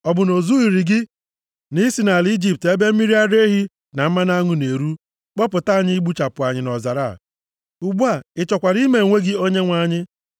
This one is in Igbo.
Ọ bụ na o zurughị gị na i si nʼala Ijipt ebe mmiri ara ehi na mmanụ aṅụ na-eru kpọpụta anyị igbuchapụ anyị nʼọzara a? Ugbu a ị chọkwara ime onwe gị onyenwe anyị?